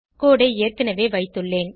கோடு ஐ ஏற்கனவே வைத்துள்ளேன்